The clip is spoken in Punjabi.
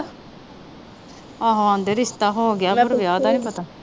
ਆਹੋ ਆਂਦੇ ਰਿਸ਼ਤਾ ਹੋਗਿਆ ਵੈਸੇ ਪਰ ਵਿਆਹ ਦਾ ਨਹੀਂ ਪਤਾ।